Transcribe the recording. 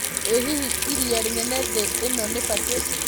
ĩ hihi ĩrĩa rĩnene thĩ ĩno ni pacific